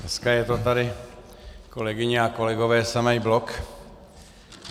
Dneska je to tady, kolegyně a kolegové, samý blok.